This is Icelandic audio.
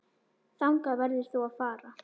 Þangað verður þú að fara.